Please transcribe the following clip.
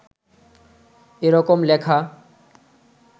এরকম লেখা